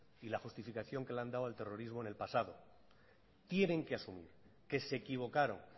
y la justificación que le han dado al terrorismo en el pasado tienen que asumir que se equivocaron